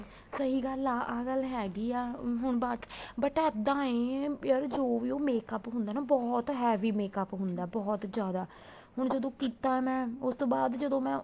ਸਹੀਂ ਗੱਲ ਆ ਆ ਗੱਲ ਹੈਗੀ ਆ ਹੁਣ but ਇੱਦਾਂ ਏ ਯਾਰ ਜੋ ਵੀ ਉਹ makeup ਹੁੰਦਾ ਹੈ ਬਹੁਤ heavy ਹੁੰਦਾ ਏ ਬਹੁਤ ਜਿਆਦਾ ਹੁਣ ਜਦੋਂ ਕੀਤਾ ਮੈਂ ਉਸ ਤੋਂ ਬਾਅਦ ਜਦੋਂ ਮੈਂ